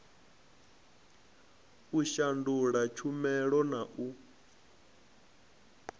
u shandula tshumela na u